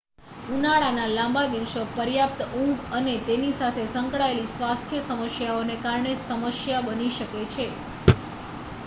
ઉનાળાના લાંબા દિવસો પર્યાપ્ત ઊંઘ અને તેની સાથે સંકળાયેલી સ્વાસ્થ્ય સમસ્યાઓને કારણે સમસ્યા બની શકે છે